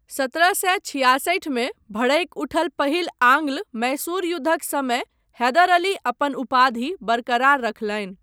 सत्रह सए छिआसठिमे भड़कि उठल पहिल आंग्ल मैसूर युद्धक समय हैदर अली अपन उपाधि बरकरार रखलनि।